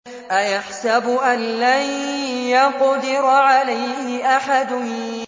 أَيَحْسَبُ أَن لَّن يَقْدِرَ عَلَيْهِ أَحَدٌ